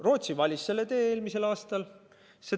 Rootsi valis selle tee eelmisel aastal.